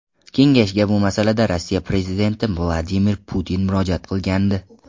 Kengashga bu masalada Rossiya prezidenti Vladimir Putin murojaat qilgandi.